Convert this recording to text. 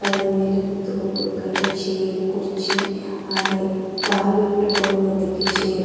ಅದರ ಮೇಲೆ ಕೂತುಕೊಳ್ಳಬೇಕಾಗಿರೊ ಚೇರ್ ಕುರ್ಚಿ ಹಾಗೆ ಕಾಲಿಟ್ಟುಕೊಳ್ಳಲುದಕ್ಕೆ ಚೇರ್ .